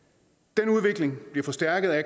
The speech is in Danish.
den udvikling bliver forstærket af